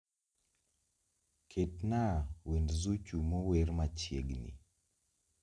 Ketnaa wend zuchu mower machiegni